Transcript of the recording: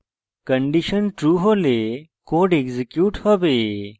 condition true হলে code execute হবে